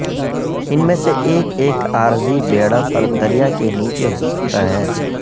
ان میں سے ایک ایک عارضی بیڑا پر دریا کے نیچے ہو سکتا ہے